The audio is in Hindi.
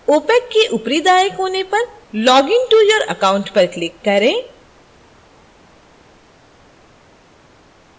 opac के ऊपरी दाएँ कोने पर login to your account पर click करें